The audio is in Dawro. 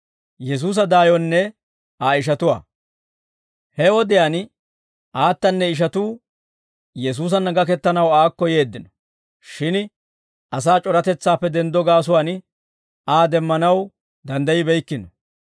He wodiyaan aatanne ishatuu Yesuusanna gakettanaw aakko yeeddino; shin asaa c'oratetsaappe denddo gaasuwaan Aa demmanaw danddaybbeykkino.